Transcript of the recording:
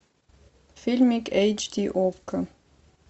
фильмик эйч ди окко